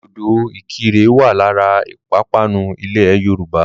Dòdò ìkirè wà lára ìpapánu ilẹ̀ Yorùbá.